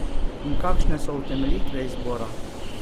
In kakšne so utemeljitve izbora?